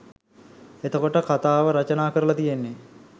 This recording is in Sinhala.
එතකොට කතාව රචනා කරලා තියෙන්නේ